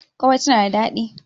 ƙwarai tana da daɗi.